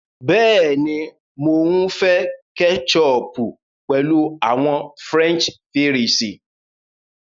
Bẹ́ẹ̀ni, Mo ǹ fẹ kẹ́chọpù pẹ̀lú àwọn French fírìsí.